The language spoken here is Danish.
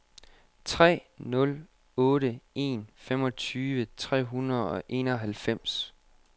tre nul otte en femogtyve tre hundrede og enoghalvfems